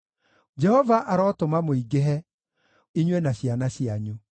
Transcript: Jehova arotũma mũingĩhe, inyuĩ na ciana cianyu.